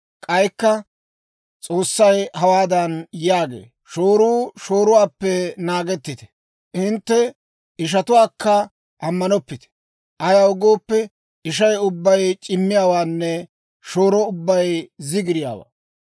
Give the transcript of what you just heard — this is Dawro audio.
K'aykka S'oossay hawaadan yaagee; «Shooruu shooruwaappe naagettite; hintte ishatuwaakka ammanettoppite. Ayaw gooppe, ishay ubbay c'immiyaawaanne shooro ubbay zigiriyaawaa.